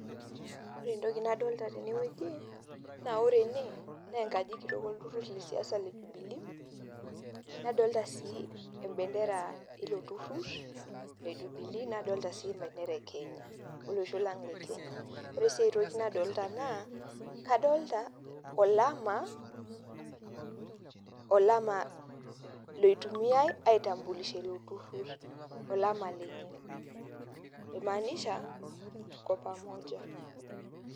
Ore entoki nadolta tene wueji naa ore ene naa enkaji kitok olturur le siasa le Jubilee, nadolta sii em bendera ilo turur le Jubilee, nadolta sii em bendera e kenya oloshol lang' le Kenya. Ore sii enkae toki nadolita naa adolta olama olama loitumiai ai tambulisha ilo turur, olama lenye oi maanisha tuko pamoja.